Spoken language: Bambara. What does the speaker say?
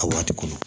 A waati kɔnɔ